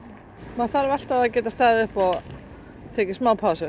maður þarf alltaf að geta staðið upp og tekið smá pásu